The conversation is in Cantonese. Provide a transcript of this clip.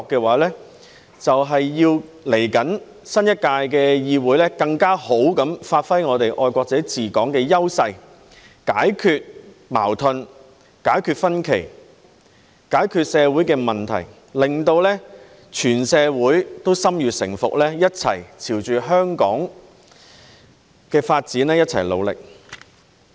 為此，稍後新一屆的議會便要更好地發揮我們"愛國者治港"的優勢，解決矛盾、解決分歧、解決社會問題，令全社會都心悅誠服，朝着香港的發展目標一齊努力。